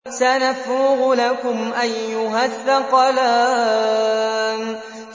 سَنَفْرُغُ لَكُمْ أَيُّهَ الثَّقَلَانِ